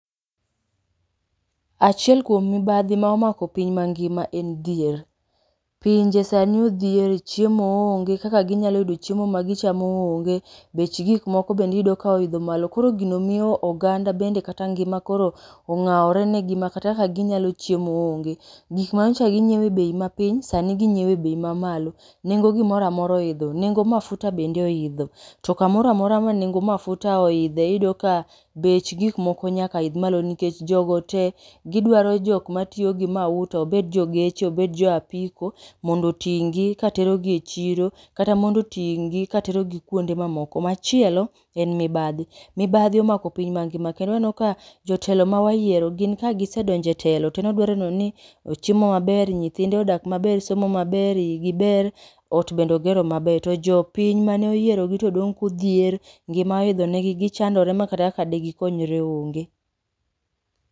Achiel kuom mibadhi ma omako piny mangima en dhier. Pinje sani odhier, chiemo onge, kaka ginyalo yudo chiemo ma gichamo onge. Bech gikmoko bendi iyudo ka oidho malo, koro gino miyo oganda bende kata ngima koro ong'awore ne gi ma kata kaka ginyalo chiemo onge. Gik ma nyicha ginyiewo e bei ma piny sani ginyiewo e bei ma malo. Nengo gimoramora oidho, nengo mafuta bende oidho. To kamoramora ma nengo mafuta oidhe, iyudo ka bech gik moko nyaka idh malo. Nikech jogo te gidwaro jok ma tiyo gi mauta, obed jo geche obed jo apiko mondo oting' gi katerogi e chiro. Kata mondo oting' gi katerogi kuonde ma moko. Machielo en mibadhi, mibadhi omako piny mangima kendo aneno ka jotelo mawayiero, gin ka gisedonje telo, to en odwaro nenoni ochiemo maber, nyithinde odak maber, somo maber, igi ber, ot bende ogero maber. To jopiny mane oyiero gi to dong' kodhier, ngima oidho negi gichandore ma kata de gikonyre onge.